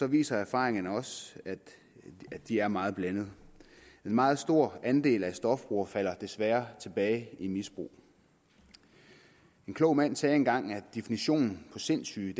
viser erfaringerne også at de er meget blandede en meget stor andel af stofbrugere falder desværre tilbage i misbrug en klog mand sagde engang at definitionen på sindssyge